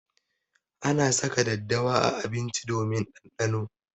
Ana saka daddawa a abinci domin ɗanɗano.